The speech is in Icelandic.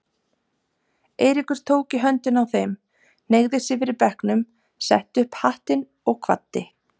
Eiríkur tók í höndina á þeim, hneigði sig fyrir bekknum, setti upp hattinn og kvaddi.